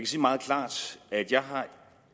sige meget klart at jeg